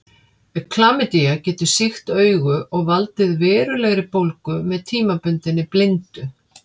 Klamydía getur sýkt augu og valdið verulegri bólgu með tímabundinni blindu.